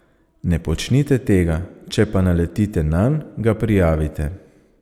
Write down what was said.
Ne počnite tega, če pa naletite nanj, ga prijavite.